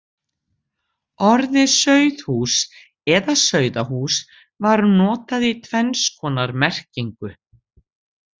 Orðið sauðhús eða sauðahús var notað í tvenns konar merkingu.